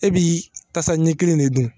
E bi tasa ɲɛ kelen de dun.